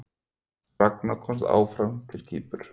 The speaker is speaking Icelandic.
Ragna komst áfram á Kýpur